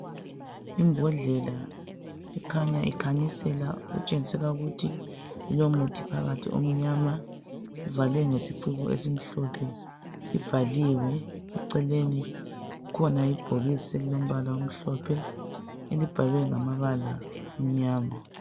Imbodlela ekhanya ikhanyisela okutshengisela ukuthi ilomuthi phakathi omnyama ivalwe ngesiciko esimhlophe ibhaliwe eceleni kukhona ibhokisi elilombala omhlophe elibhalwe ngamabala amnyama.